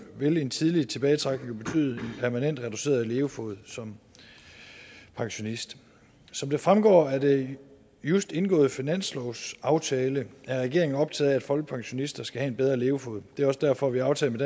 vil en tidlig tilbagetrækning jo betyde en permanent reduceret levefod som pensionist som det fremgår af den just indgåede finanslovsaftale er regeringen optaget af at folkepensionister skal have en bedre levefod det er også derfor vi har aftalt